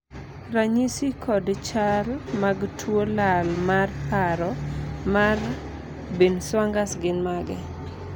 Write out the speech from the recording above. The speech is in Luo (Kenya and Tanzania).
ranyisi kod chal mag tuo lal mar paro mar binwang'ers gin mage?